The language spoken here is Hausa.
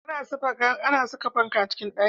A na saka fanka a cikin ɗaki